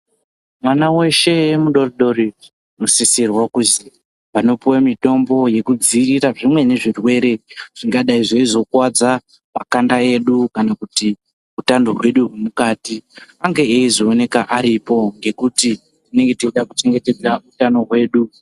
Mwana weshe mudodori unosisirwa kuzi panopiwe mitombo yekudziirira zvimweni zvirwere zvingadai zveizo kuwadza makanda edu kana utando hwedu hwemukati ange eizoonekwa aripo ngekuti tinenge teide kuchengetedza utano hwedu.